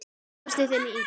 Bjóst í þinni íbúð.